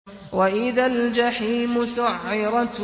وَإِذَا الْجَحِيمُ سُعِّرَتْ